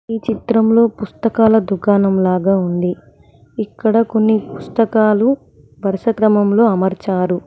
ఈ చిత్రంలో పుస్తకాల దుకాణంలాగా ఉంది ఇక్కడ కొన్ని పుస్తకాలు వరుసక్రమంలో అమర్చారు.